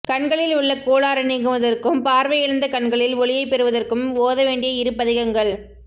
கண்களில் உள்ள கோளாறு நீங்குவதற்கும் பார்வை இழந்த கண்களில் ஒளியைப் பெறுவதற்கும் ஓதவேண்டிய இரு பதிகங்கள்